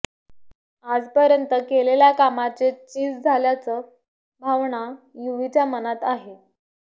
आजपर्यंत केलेल्या कामाचे चीज झाल्याच भावना युवीच्या मनात आहे